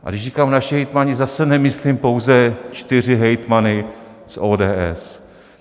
A když říkám naši hejtmani, zase nemyslím pouze čtyři hejtmany z ODS.